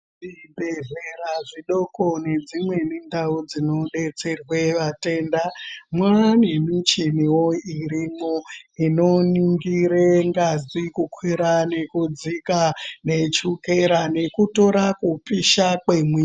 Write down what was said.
Zvibhedhlera zvidoko nedzimweni ndau dzinobetserwe vatenda, mwane nemuchini irimwo inoningira ngazi kukwira ngekudzika nechukera nekutora kupisha kwemwiri .